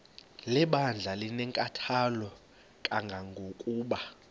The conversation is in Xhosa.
lebandla linenkathalo kangangokuba